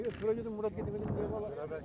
Mən şöyə dedim Murat gətirəm.